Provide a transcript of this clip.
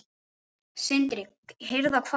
Sindri: Hirða hvað?